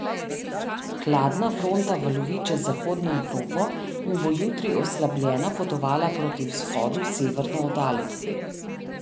Hladna fronta valovi čez zahodno Evropo in bo jutri oslabljena potovala proti vzhodu severno od Alp.